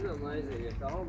Mənə zəng gəlir.